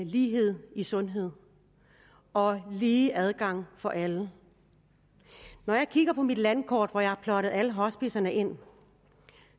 lighed i sundhed og lige adgang for alle når jeg kigger på mit landkort hvor jeg har plottet alle hospicerne ind